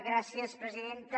gràcies presidenta